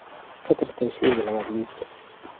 ka tirtir shayga labaad liiska